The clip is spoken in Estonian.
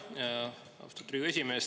Jaa, austatud Riigikogu esimees!